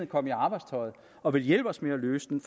kom i arbejdstøjet og ville hjælpe os med at løse den